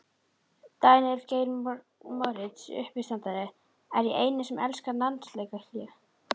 Daníel Geir Moritz uppistandari: Er ég eini sem elska landsleikjahlé?